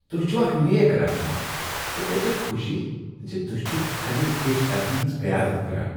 تہۍ چھو اکھ نیک رہنما تہٕ مےٚ چھےٚ خوشی ز تہۍ چھو امہ پیش قدمی ہنزقیادت کران۔